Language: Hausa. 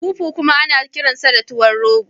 Fufu kuma ana kiransa da tuwan rogo